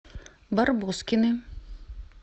барбоскины